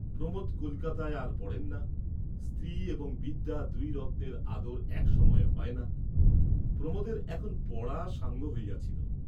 প্রমোদ কলিকাতায় আর পড়েন না, স্ত্রী এবং বিদ্যা দুই রত্নের আদর এক সময়ে হয় না, প্রমোদের এখন পড়া সাঙ্গ হইয়াছিল।